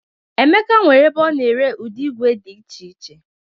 Emeka nwere ebe a na-ere ụdị igwe dị iche iche.